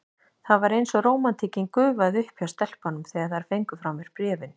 Það var eins og rómantíkin gufaði upp hjá stelpunum, þegar þær fengu frá mér bréfin.